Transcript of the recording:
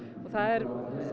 og það er